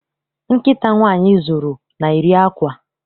Nkịta nwaanyị zụrụ, na-eri àkwá.